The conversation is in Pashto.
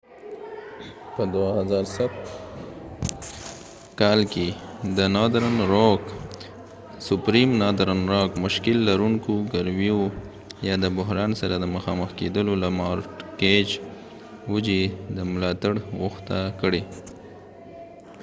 northern rock په 2007 کال کې د مشکل لرونکو ګرویو یا subprime mortgage د بحران سره د مخامخ کیدو له وجې د ملاتړ غوښتنه کړې